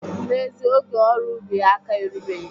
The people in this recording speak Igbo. N'ezie, oge ọrụ ubi aka erubeghị